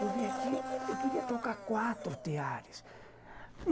Eu vim aqui e queria tocar quatro teares.